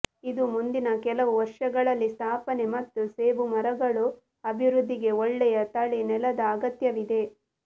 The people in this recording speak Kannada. ಇದು ಮುಂದಿನ ಕೆಲವು ವರ್ಷಗಳಲ್ಲಿ ಸ್ಥಾಪನೆ ಮತ್ತು ಸೇಬು ಮರಗಳು ಅಭಿವೃದ್ಧಿಗೆ ಒಳ್ಳೆಯ ತಳಿ ನೆಲದ ಅಗತ್ಯವಿದೆ